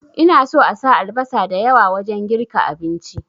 Ina so asa albasa da yawa wajen girka abinci